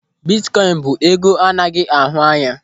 Bitkoin bụ ego anaghị ahụ anya.